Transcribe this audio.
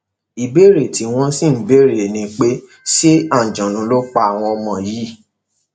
ìbéèrè tí wọn sì ń béèrè ni pé ṣe àǹjọnnú ló pa àwọn ọmọ yìí